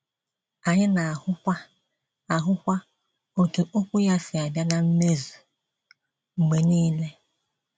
Anyị na - ahụkwa - ahụkwa otú okwu ya si abịa na mmezu mgbe nile.